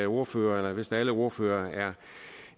ordførere eller vist alle ordførere